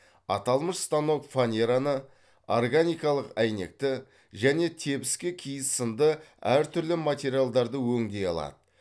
аталмыш станок фанераны органикалық әйнекті және тебіскі киіз сынды әр түрлі материалдарды өңдей алады